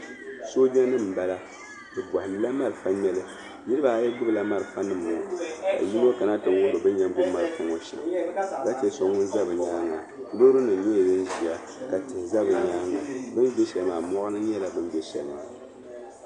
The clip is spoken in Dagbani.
Sooja nima n bala bi bɔhindi la malfa ŋmeli niriba ayi gbubi la malfa nima ŋɔ ka yino kana ti lihiri bin yɛn ŋmɛ malfa ŋɔ shɛm ka che so ŋun za nyaanga loori nima nyɛla din ʒiya ka tihi sa ni maa ni bin ʒi sheli maa mɔɣuni n nyɛ bin bɛ sheli maa.